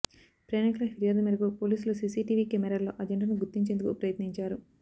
ప్రయాణికుల ఫిర్యాదు మేరకు పోలీసులు సీసీటీవీ కెమేరాల్లో ఆ జంటను గుర్తించేందుకు ప్రయత్నించారు